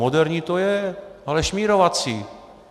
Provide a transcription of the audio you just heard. Moderní to je, ale šmírovací.